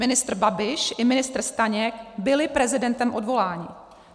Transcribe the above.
Ministr Babiš (?) i ministr Staněk byli prezidentem odvoláni.